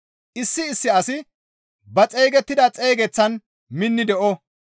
Issi issi asi ba xeygettida xeygeteththan minni de7o.